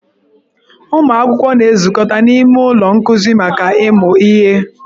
Ụmụ akwụkwọ na-ezukọta n'ime ụlọ nkuzi maka ịmụ ihe.